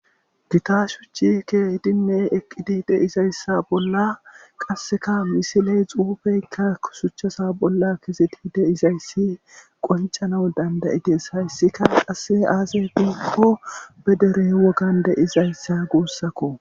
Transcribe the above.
gita shuchi kehidinneeqqidi deizayssa bolla qasseka misiley xuufeyka kusuchchasa bolla keseti de izayssi qoncana dandayides hayssika qasse aase diikko be derey wogan de izayssa guussakko